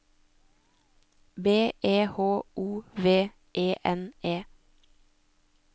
B E H O V E N E